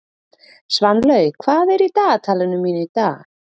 Svanlaug, hvað er í dagatalinu mínu í dag?